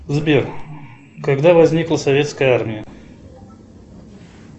сбер когда возникла советская армия